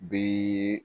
Bi